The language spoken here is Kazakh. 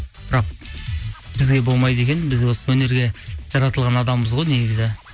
бірақ бізге болмайды екен біз осы өнерге жаратылған адамбыз ғой негізі